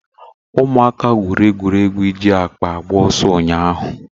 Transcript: Ụmụaka gwụrụ egwuregwu iji akpa agba ọsọ ụnyahụ.